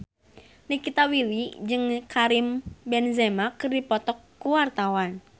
Nikita Willy jeung Karim Benzema keur dipoto ku wartawan